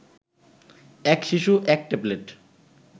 এক শিশু এক ট্যাবলেট